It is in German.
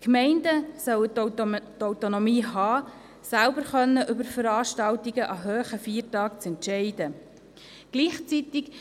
Die Gemeinden sollen die Autonomie haben, selber über Veranstaltungen an hohen Feiertagen entscheiden zu können.